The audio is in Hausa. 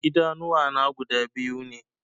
Idanuwa na guda biyu ne